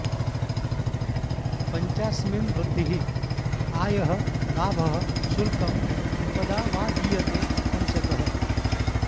पञ्चास्मिन् वृद्धिः आयः लाभः शुल्कम् उपदा वा दीयते पञ्चकः